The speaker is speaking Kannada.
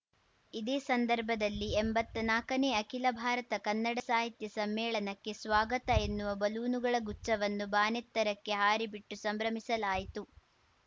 ಇದೇ ಸಂದರ್ಭದಲ್ಲಿ ಎಂಬತ್ನಾಕನೇ ಅಖಿಲ ಭಾರತ ಕನ್ನಡ ಸಾಹಿತ್ಯ ಸಮ್ಮೇಳನಕ್ಕೆ ಸ್ವಾಗತ ಎನ್ನುವ ಬಲೂನುಗಳ ಗುಚ್ಛವನ್ನು ಬಾನೆತ್ತರಕ್ಕೆ ಹಾರಿಬಿಟ್ಟು ಸಂಭ್ರಮಿಸಲಾಯಿತು